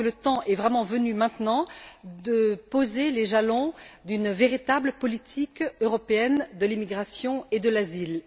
Je crois que le temps est vraiment venu, maintenant, de poser les jalons d'une véritable politique européenne de l'immigration et de l'asile.